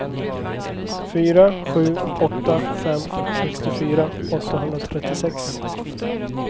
fyra sju åtta fem sextiofyra åttahundratrettiosex